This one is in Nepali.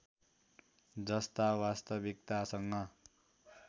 जस्ता वास्तविकतासँग